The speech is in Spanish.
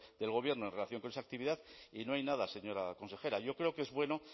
del gobierno en relación con esa actividad y no hay nada señora consejera yo creo que es bueno